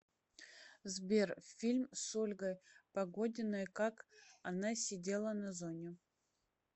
сбер фильм с ольгой погодиной как она сидела на зоне